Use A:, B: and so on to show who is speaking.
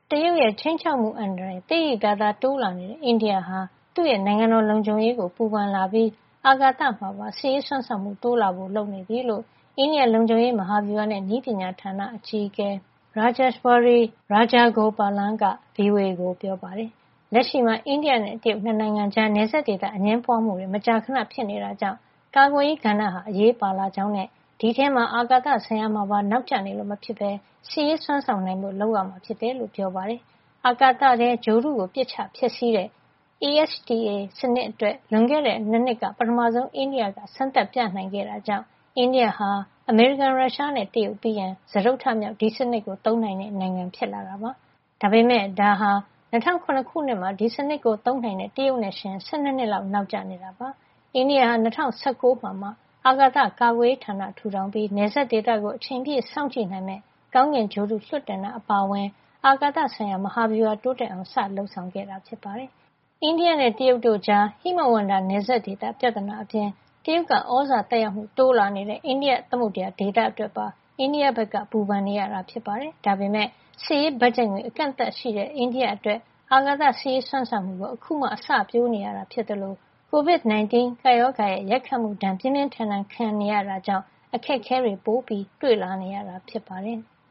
A: တရုတ်ရဲ့ ခြိမ်းခြောက်မှုအန္တရာယ် သိသိသာသာ တိုးလာနေတဲ့ အိန္ဒိယဟာ သူ့ရဲ့ နိုင်ငံတော်လုံခြုံရေးကို ပူပန်လာပြီး အာကာသမှာပါ စစ်ရေးစွမ်းဆောင်မှု တိုးလာဖို့ လုပ်နေပြီလို့ အိန္ဒိယ လုံခြုံရေး၊ မဟာဗျူဟာနဲ့ နည်းပညာဌာန အကြီးအကဲ Rajeswari Pillai Rajagopalan က ဗွီအိုအေကို ပြောပါတယ်။ လက်ရှိမှာ အိန္ဒိယနဲ့ တရုတ် ၂ နိုင်ငံကြား နယ်စပ်ဒေသ အငြင်းပွားမှုတွေ မကြာခဏ ဖြစ်ပွားနေတာကြောင့် ကာကွယ်ရေးကဏ္ဍဟာ အရေးပါလာကြောင်းနဲ့ ဒီအထဲမှာ အာကာသဆိုင်ရာမှာပါ နောက်ကျနေလို့ မဖြစ်ဘဲ စစ်ရေးစွမ်းဆောင်နိုင်ဖို့ လုပ်ရမှာဖြစ်ကြောင်း ပြောပါတယ်။ အာကာသထဲက ဂြိုဟ်တုကို ပစ်ချဖျက်ဆီးတဲ့ ASAT (Anti-satellite weapons) စနစ်အတွက် လွန်ခဲ့တဲ့ ၂ နှစ်က ပထမဆုံး အိန္ဒိယက စမ်းသပ်ပြသနိုင်ခဲ့တာကြောင့် အိန္ဒိယဟာ အမေရိကန်၊ ရုရှားနဲ့ တရုတ်ပြီးရင် စတုတ္ထမြောက် ဒီစနစ်ကိုသုံးနိုင်တဲ့နိုင်ငံ ဖြစ်လာတာပါ။ ဒါပေမယ့် ဒါဟာ ၂၀၀၇ ခုနှစ်မှာ ဒီစနစ်ကို သုံးနိုင်ခဲ့တဲ့ တရုတ်နဲ့ယှဉ်ရင် ၁၂ နှစ်လောက် နောက်ကျနေတာ ဖြစ်ပါတယ်။ အိန္ဒိယဟာ ၂၀၁၉ ကျမှ အာကာသကာကွယ်ရေးဌာနကို ထူထောင်ခဲ့ပြီး နယ်စပ်ဒေသကို အချိန်ပြည့် စောင့်ကြည့်နိုင်မယ့် ကောင်းကင်ဂြိုဟ်တု လွှတ်တင်တာ အပါအဝင် အာကာသဆိုင်ရာ မဟာဗျူဟာ တိုးတက်အောင် စတင်လုပ်ဆောင်ခဲ့ရတာပါ။ အိန္ဒိယနဲ့ တရုတ်တို့ကြား ဟိမဝန္တာနယ်စပ်ဒေသ ပြဿနာအပြင် တရုတ်က သြဇာသက်ရောက်မှု တိုးလာနေတဲ့ အိန္ဒိယသမုဒ္ဒရာဒေသ အတွက်ပါ အိန္ဒိယက ပူပန်နေရတာ ဖြစ်ပါတယ်။ ဒါပေမယ့် စစ်ရေးဘတ်ဂျက်ငွေ အကန့်အသတ်ရှိနေတဲ့ အိန္ဒိယအတွက် အာကာသစစ်ရေး စွမ်းဆောင်မှုကို အခုမှ အစပျိုးနေရတာ ဖြစ်သလို COVID-19 ကပ်ရောဂါရဲ့ ရိုက်ခတ်မှု ပြင်းပြင်းထန်ထန် ခံစားနေရတာကြောင့် အခက်အခဲတွေ ပိုတွေ့နေရတာ ဖြစ်ပါတယ်။